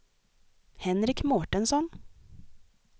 Henrik Mårtensson